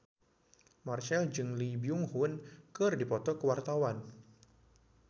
Marchell jeung Lee Byung Hun keur dipoto ku wartawan